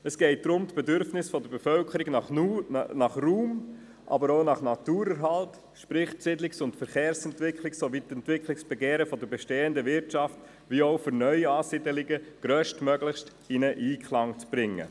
Es geht darum, die Bedürfnisse der Bevölkerung nach Raum, aber auch nach Naturerhalt, sprich die Siedlungs- und Verkehrsentwicklung, sowie die Entwicklungsbegehren der bestehenden Wirtschaft und für neue Ansiedlungen grösstmöglich in Einklang zu bringen.